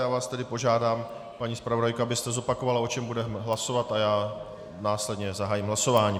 Já vás tedy požádám, paní zpravodajko, abyste zopakovala, o čem budeme hlasovat, a já následně zahájím hlasování.